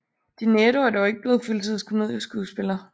De Niro er dog ikke blevet fuldtids komedieskuespiller